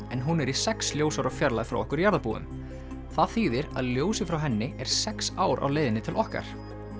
en hún er í sex ljósára fjarlægð frá okkur jarðarbúum það þýðir að ljósið frá henni er sex ár á leiðinni til okkar